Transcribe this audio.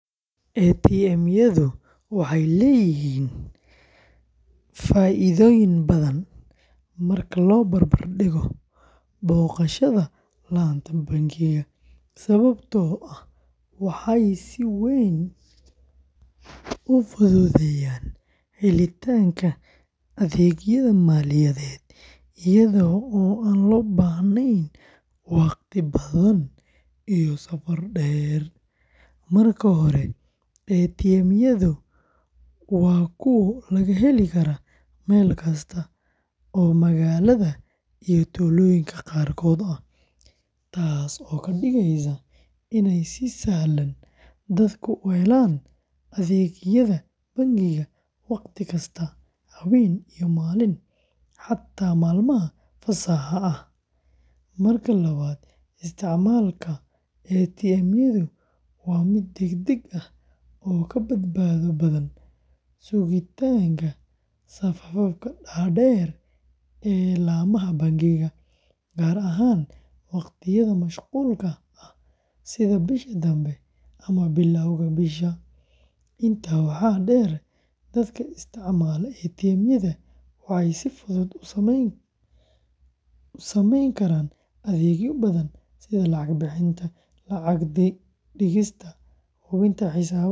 ATM-yadu waxay leeyihiin faa’iidooyin badan marka loo barbar dhigo booqashada laanta bangiga, sababtoo ah waxay si weyn u fududeeyaan helitaanka adeegyada maaliyadeed iyada oo aan loo baahnayn wakhti badan iyo safar dheer. Marka hore, ATM-yadu waa kuwo laga heli karo meel kasta oo magaalada iyo tuulooyinka qaarkood ah, taasoo ka dhigaysa inay si sahlan dadku u helaan adeegyada bangiga wakhti kasta, habeen iyo maalin, xitaa maalmaha fasaxa ah. Marka labaad, isticmaalka ATM-yadu waa mid degdeg ah oo ka badbaado badan sugitaanka safafka dhaadheer ee laamaha bangiga, gaar ahaan waqtiyada mashquulka ah sida bisha dambe ama bilowga bisha. Intaa waxaa dheer, dadka isticmaala ATM-yada waxay si fudud u sameyn karaan adeegyo badan sida lacag bixinta, lacag dhigista, hubinta xisaabaadka.